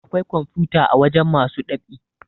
Awkai kwamfuta a wajen masu ɗab'i